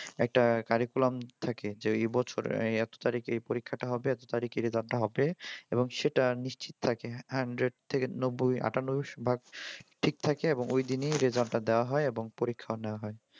একটা curriculam থাকে যে এই বছরে এত তারিখে এই পরীক্ষাটা হবে এত তারিখে result টা হবে। এবং সেটা নিশ্চিত থাকে hundred থেকে নব্বই আটানব্বই ভাগ ঠিক থাকে এবং ঐ দিনই result টা দেওয়া হয় এবং পরীক্ষাও নেওয়া হয়।